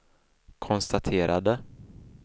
konstaterade